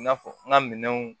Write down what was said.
I n'a fɔ n ka minɛnw